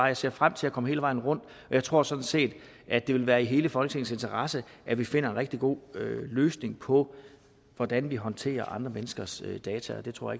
jeg ser frem til at komme hele vejen rundt og jeg tror sådan set at det vil være i hele folketingets interesse at vi finder en rigtig god løsning på hvordan vi håndterer andre menneskers data det tror